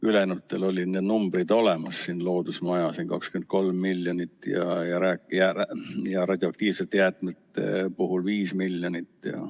Ülejäänutel olid need numbrid olemas: keskkonnamaja 23 miljonit ja radioaktiivsete jäätmete puhul 5 miljonit.